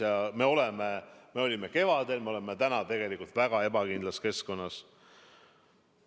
Ja me oleme – me olime kevadel, me oleme täna – tegelikult väga ebakindlas keskkonnas.